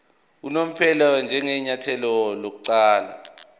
unomphela njengenyathelo lokuqala